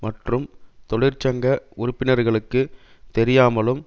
மற்றும் தொழிற்சங்க உறுப்பினர்களுக்கு தெரியாமலும்